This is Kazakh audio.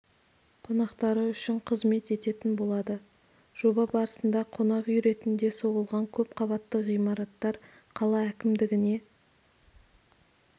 қонақтары үшін қызмет ететін болады жоба барысында қонақ үй ретінде соғылған көпқабатты ғимараттар қала әкімдігіне